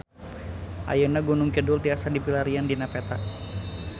Ayeuna Gunung Kidul tiasa dipilarian dina peta